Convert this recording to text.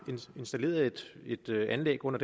installeret et anlæg under